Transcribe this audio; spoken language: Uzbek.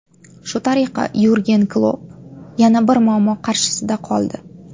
Shu tariqa Yurgen Klopp yana bir muammo qarshisida qoldi.